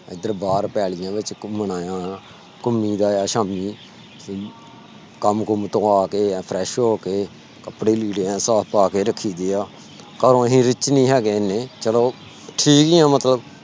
ਓਧਰ ਬਾਹਰ ਪੈਲੀਆਂ ਵਿਚ ਘੁੰਮਣ ਆਇਆ ਪਿਆ। ਘੁੰਮੀ ਦਾ ਆ ਸ਼ਾਮੀ ਕੰਮ ਕੁਮ ਤੋਂ ਆ ਕੇ fresh ਹੋ ਕੇ ਕੱਪੜੇ ਲੀੜੇ ਸਾਫ ਪਾ ਕੇ ਰੱਖੀ ਦੇ ਆ ਘਰੋਂ ਅਸੀਂ rich ਨੀ ਹੈਗੇ ਐਨੇ ਚਲੋ ਠੀਕ ਹੀ ਆ ਮਤਲਬ।